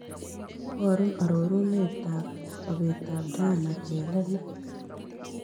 Iborun arorunetap sobetap diana chelele